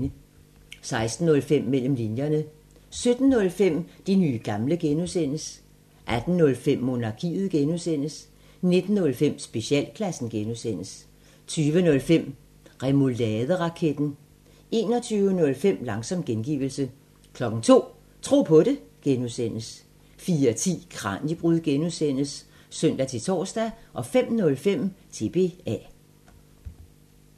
16:05: Mellem linjerne 17:05: De nye gamle (G) 18:05: Monarkiet (G) 19:05: Specialklassen (G) 20:05: Remouladeraketten 21:05: Langsom gengivelse 02:00: Tro på det (G) 04:10: Kraniebrud (G) (søn-tor) 05:05: TBA